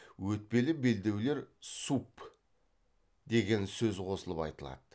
өтпелі белдеулер суб деген сөз қосылып айтылады